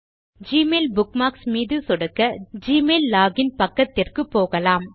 Gmail bookmarks மீது சொடுக்க Gmail login பக்கத்திற்கு போகலாம்